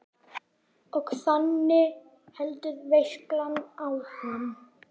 Og þannig heldur veislan áfram.